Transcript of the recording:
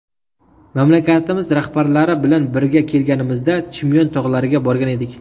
Mamlakatimiz rahbarlari bilan bir kelganimizda Chimyon tog‘lariga borgan edik.